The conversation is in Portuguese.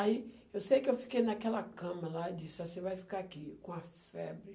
Aí, eu sei que eu fiquei naquela cama lá e disse, você vai ficar aqui com a febre.